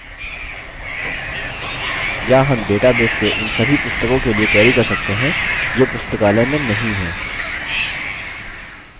या हम database से उन सभी पुस्तकों के लिए query कर सकते हैं जो पुस्तकालय में नहीं है